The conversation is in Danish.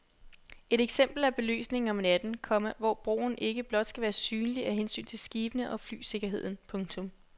Et eksempel er belysningen om natten, komma hvor broen ikke blot skal være synlig af hensyn til skibene og flysikkerheden. punktum